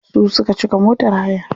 Su suka cika motar hayar.